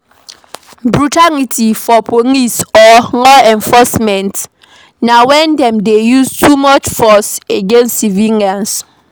Brutality for police or law enforcement na when dem dey use too much force against civilians